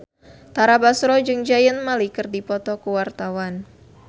Tara Basro jeung Zayn Malik keur dipoto ku wartawan